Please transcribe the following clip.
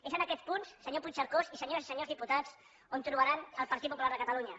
és en aquests punts senyor puigcercós senyores i senyors diputats on trobaran el partit popular de catalunya